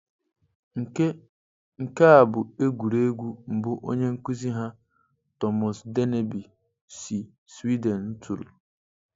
Nke Nke a bụ egwuregwu mbụ onye nkuzi ha, Thomas Dennerby si Sweden, tụrụ.